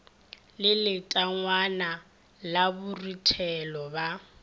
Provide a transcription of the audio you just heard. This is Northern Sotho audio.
le letangwana la boruthelo ba